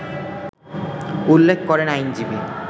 উল্লেখ করেন আইনজীবী